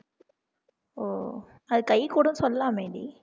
ஓ அது கைகூட சொல்லலாமேடி